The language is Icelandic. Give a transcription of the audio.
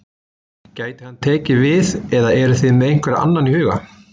Gæti hann tekið við eða eruð þið með einhvern annan í huga?